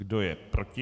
Kdo je proti?